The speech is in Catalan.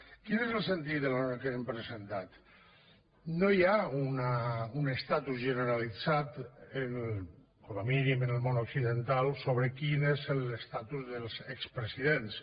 quin és el sentit de la que hem presentat no hi ha un estatus generalitzat com a mínim en el món occidental sobre quin és l’estatus dels expresidents